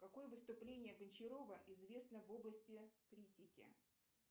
какое выступление гончарова известно в области критики